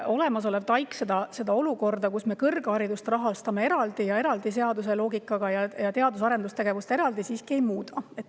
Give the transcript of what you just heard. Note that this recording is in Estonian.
Olemasolev TAIKS seda olukorda, kus me kõrgharidust rahastame seadusloogikaga ning teadus- ja arendustegevust eraldi, siiski ei muuda.